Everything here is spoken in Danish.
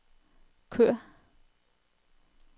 kør